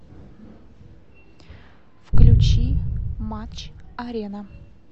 включи матч арена